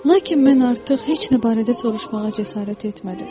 Lakin mən artıq heç nə barədə soruşmağa cəsarət etmədim.